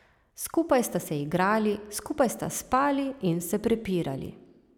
Skupaj sta se igrali, skupaj sta spali in se prepirali.